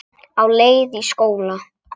Á leið í skóla.